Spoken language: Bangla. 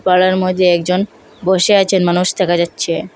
পাড়ার মইদ্যে একজন বসে আছেন মানুষ দেখা যাচ্চে।